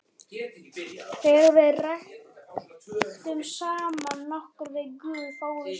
Þegar við ræktum samband okkar við guð fáum við svar.